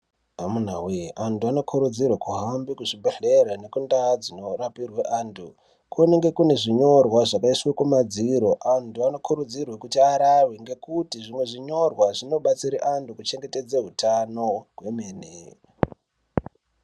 Amunawee antu anokurudzirwa kuenda kuzvibhedhlera nekundaa dzinorapirwa vantu kunemge kunezvinyorwa zvakaiswe kumadziro antu anokuridzirwa kuti arave ngekuti zvimwe zvinonyora zvinobatsire antu kuchengetedza utano kwemene.